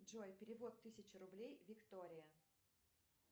джой перевод тысяча рублей виктория